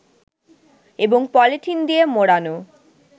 এবং পলিথিন দিয়ে মোড়ানো